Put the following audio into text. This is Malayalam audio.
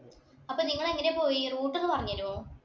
അപ്പോൾ നിങ്ങൾ എങ്ങനെയാ പോയേ route ഒന്ന് പറഞ്ഞു തരുവോ.